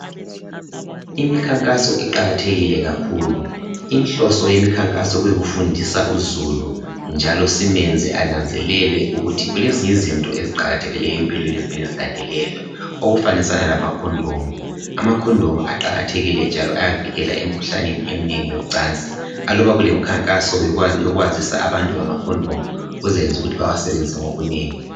Imikhankaso iqakathekile kakhulu inhlonso yemikhankaso kuyikufundisa uzulu njalo simenze ananzelele ukuthi kulezinye izinto eziqakathekileyo empilweni okumele zilandelelwe okufanisana lama condom ama condom aqakathekile njalo ayavikela emikhuhlaneni eminengi yoncansi alubana kulemkhankaso eminengi afundisa abantu ngamacondom kuzayenza ukuthi bewasebenzise ngobunengi